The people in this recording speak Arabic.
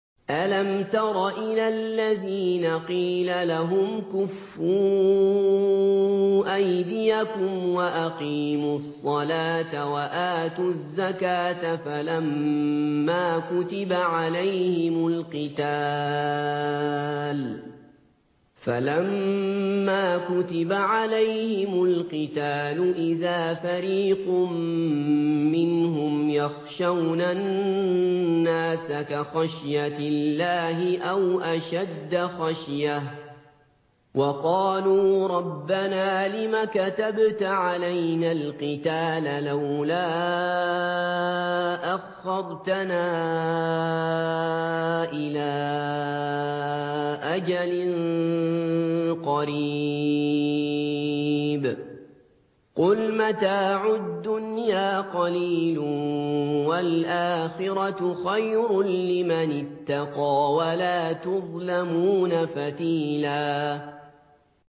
أَلَمْ تَرَ إِلَى الَّذِينَ قِيلَ لَهُمْ كُفُّوا أَيْدِيَكُمْ وَأَقِيمُوا الصَّلَاةَ وَآتُوا الزَّكَاةَ فَلَمَّا كُتِبَ عَلَيْهِمُ الْقِتَالُ إِذَا فَرِيقٌ مِّنْهُمْ يَخْشَوْنَ النَّاسَ كَخَشْيَةِ اللَّهِ أَوْ أَشَدَّ خَشْيَةً ۚ وَقَالُوا رَبَّنَا لِمَ كَتَبْتَ عَلَيْنَا الْقِتَالَ لَوْلَا أَخَّرْتَنَا إِلَىٰ أَجَلٍ قَرِيبٍ ۗ قُلْ مَتَاعُ الدُّنْيَا قَلِيلٌ وَالْآخِرَةُ خَيْرٌ لِّمَنِ اتَّقَىٰ وَلَا تُظْلَمُونَ فَتِيلًا